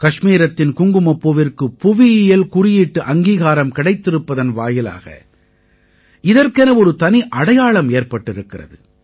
கஷ்மீரத்தின் குங்குமப்பூவிற்கு புவியியல் குறியீட்டு அங்கீகாரம் கிடைத்திருப்பதன் வாயிலாக இதற்கென ஒரு தனி அடையாளம் ஏற்பட்டிருக்கிறது